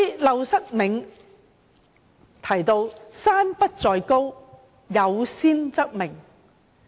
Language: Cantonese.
《陋室銘》提到，"山不在高，有仙則名。